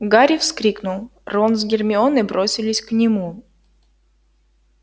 гарри вскрикнул рон с гермионой бросились к нему